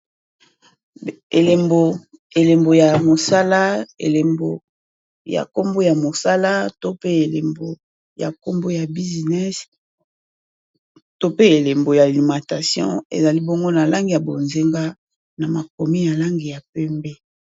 Elembo elembo ya mosala elembo ya Kombo ya mosala to pe elembo ya Kombo ya business to pe elembo ya alimentation ezali bongo na langi ya bozinga na makomi na langi ya pembe